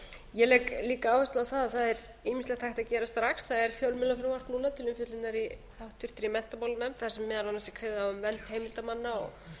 ég legg líka áherslu á það að það er ýmislegt hægt að gera strax það er fjölmiðlafrumvarp núna til umfjöllunar í háttvirtri menntamálanefnd þar sem meðal annars er kveðið á um vernd heimildarmanna og